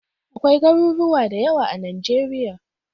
Akwai Garuruwa da yawa a Najeriya.